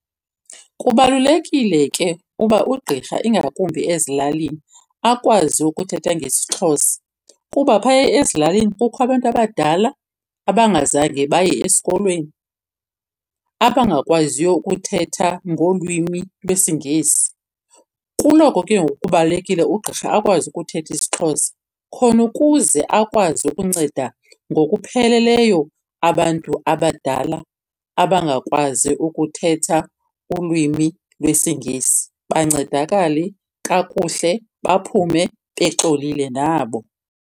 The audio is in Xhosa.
Kubalulekile ke uba ugqirha ingakumbi ezilalini akwazi ukuthetha ngesiXhosa, kuba phaya ezilalini kukho abantu abadala abangazange baye esikolweni abangakwaziyo ukuthetha ngolwimi lwesiNgesi. Kuloko ke ngoku kubalulekile ugqirha akwazi ukuthetha isiXhosa khona ukuze akwazi ukunceda ngokupheleleyo abantu abadala abangakwazi ukuthetha ulwimi lwesiNgesi. Bancedakale kakuhle baphume bexolile nabo.